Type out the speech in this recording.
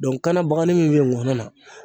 Dɔnku kana bagani min